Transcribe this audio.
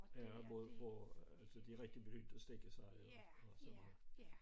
Ja og både på altså de rigtig begyndte at stikke sig og sådan noget